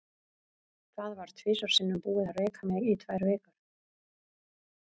Það var tvisvar sinnum búið að reka mig í tvær vikur.